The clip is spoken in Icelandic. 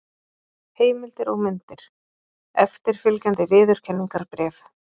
Heimildir og myndir: Eftirfylgjandi viðurkenningarbréf.